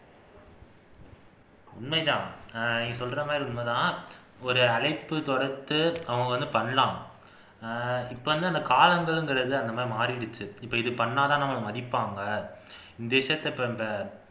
உண்மைதான் நீ சொல்றமாதிரி உண்மைதான் ஒரு அழைப்பு தொடுத்து அவங்க பண்ணலாம் இப்ப வந்து அந்த காலங்கள்ங்கிறது அந்த மாதிரி மாறிருச்சு இப்ப இது பன்னுனாதான் நம்மள மதிப்பாங்க